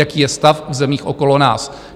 Jaký je stav v zemích okolo nás?